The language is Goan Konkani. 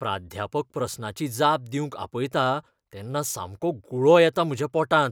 प्राध्यापक प्रस्नाची जाप दिवंक आपयता तेन्ना सामको गुळो येता म्हज्या पोटांत.